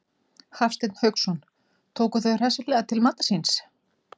Hafsteinn Hauksson: Tóku þau hraustlega til matar síns?